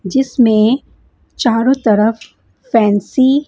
जिसमें चारों तरफ फैंसी --